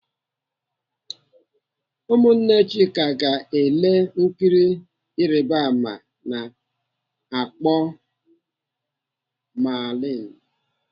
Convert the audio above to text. Ụmụnne Chika ga-ele nkiri Ịrịbama ana akpọ Merlin.